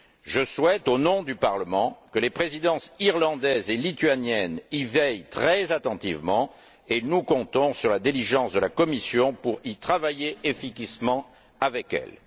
Je souhaite, au nom du Parlement, que les présidences irlandaise et lituanienne y veillent très attentivement et nous comptons sur la diligence de la Commission pour y travailler efficacement avec elles.